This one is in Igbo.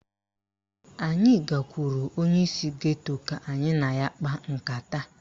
Anyị gakwuru onyeisi geto ka anyị na ya kpaa nkata